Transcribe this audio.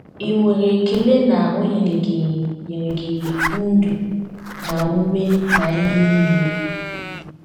Ì nwere ekele na o nyere gị nyere gị “ ndụ na ume na ihe nile ”?